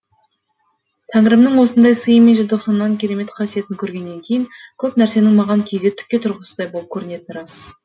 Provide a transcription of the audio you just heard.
тәңірімнің осындай сыйы мен желтоқсанның керемет қасиетін көргеннен кейін көп нәрсенің маған кейде түкке тұрғысыздай болып көрінетіні рас